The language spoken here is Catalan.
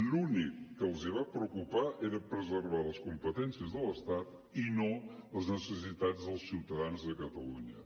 l’únic que els va preocupar era preservar les competències de l’estat i no les necessitats dels ciutadans de catalunya